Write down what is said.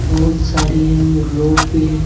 बहुत सारी है और लोग भी है।